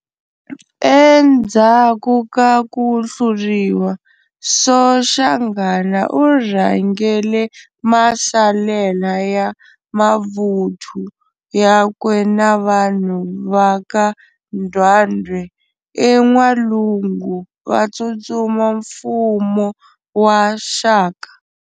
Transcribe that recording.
Endzhaku ka kuhluriwa, Soshanghana urhangele masalela ya mavuthu yakwe na vanhu vaka Ndwandwe en'walungu vatsutsuma mfumo wa Shaka.